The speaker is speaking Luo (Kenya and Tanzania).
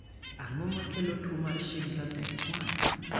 Ang'o makelo tuwo mar Schindler type 1?